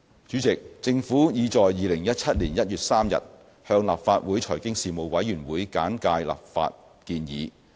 主席，政府已在2017年1月3日向立法會財經事務委員會簡介立法建議。